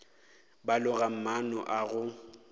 ba loga maano a go